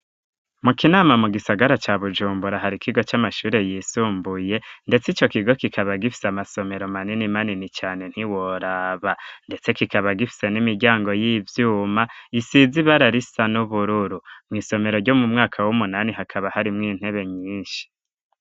Mu kinama mu gisagara ca Bujumbura hari kigo c'amashure yisumbuye ndetse icyo kigo kikaba gifise amasomero manini manini cane ntiworaba ndetse kikaba gifise n'imiryango y'ivyuma isiz ibararisa n'ubururu mu isomero ryo mu mwaka w'umunani hakaba hari mw intebe nyinshi.